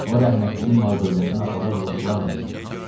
O rəhmətliyin mal-dövlətini aparıb lotularla yesin.